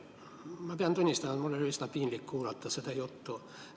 Ma pean tunnistama, et mul oli üsna piinlik kuulata seda juttu.